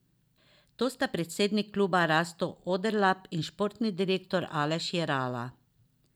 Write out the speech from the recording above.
To sta predsednik kluba Rasto Oderlap in športni direktor Aleš Jerala.